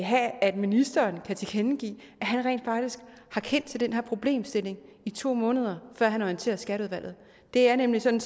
have at ministeren kan tilkendegive at han rent faktisk har kendt til den her problemstilling i to måneder før han orienterer skatteudvalget det er nemlig sådan